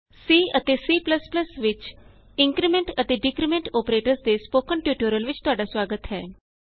C ਅਤੇ C ਵਿਚ increment ਅਤੇ ਡਿਕਰੀਮੈਂਟ ਅੋਪਰੇਟਰਸ ਦੇ ਸਪੋਕਨ ਟਯੂਟੋਰਿਅਲ ਵਿਚ ਤੁਹਾਡਾ ਸੁਆਗਤ ਹੈ